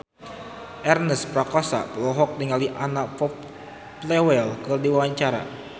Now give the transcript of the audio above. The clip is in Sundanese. Ernest Prakasa olohok ningali Anna Popplewell keur diwawancara